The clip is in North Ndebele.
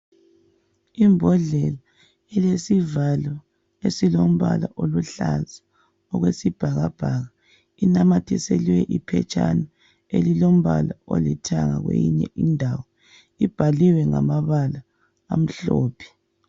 Imbodlela ilesivalo esilombala oluhlaza okwesibhakabhaka inamathiselwe iphetshana elilombala olithanga kweyinye indawo ibhaliwe ngamabala amhlophe.